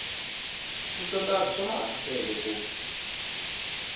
ni switandati swa maasesele ku